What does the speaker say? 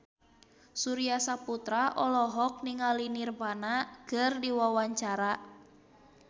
Surya Saputra olohok ningali Nirvana keur diwawancara